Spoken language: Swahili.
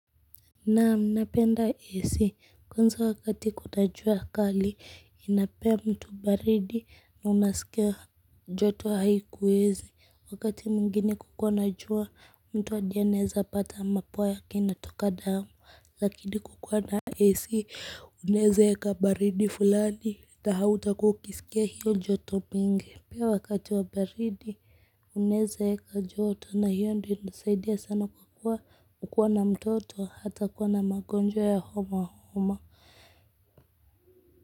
Naam napenda AC kwanza wakati kuota jua kali inapea mtu baridi na unasikia joto haikuwezi wakati mwingine kukiwa na jua mtu hadi anaweza pata mapua yake inatoka damu lakini kukuwa na AC unaweza weka baridi fulani na hautakuwa ukisikia hiyo joto mingi pia wakati wa baridi unaweza weka joto na hiyo ndiyo inasaidia sana kwa kuwa kukuwa na mtoto hatakuwa na magonjwa ya homa homa.